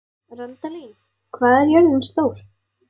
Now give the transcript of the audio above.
Randalín, hvað er jörðin stór?